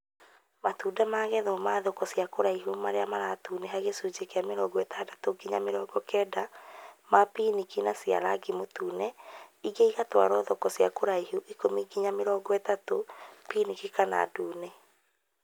Matunda magethagwo ma thoko cia kũraihu marĩa maratũnĩha gĩcunjĩ kĩa 60-90% ma pinki na cia rangi mũtune ingĩ igatwarwo thoko cia hakuhĩ 10-30% pinki kana ndune